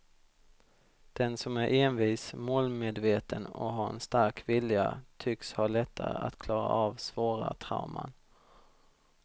Den som är envis, målmedveten och har en stark vilja tycks ha lättare att klara av svåra trauman.